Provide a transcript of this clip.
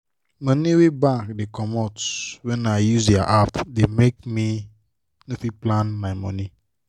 money wey bank da comot when i use dia app da make i no fit plan my money